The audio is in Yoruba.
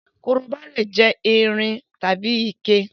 Korobá lè yé irin tàbí ike